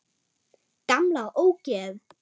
Gamla ógeð!